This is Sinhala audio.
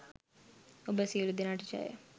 ඔබ සියලු දෙනාට ජය